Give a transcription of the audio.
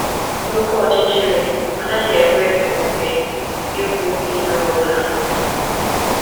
N’oké ọchịchịrị, ọ naghị ekwe omume ịhụ ihe ọ bụla.